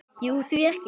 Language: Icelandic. Jú, því ekki?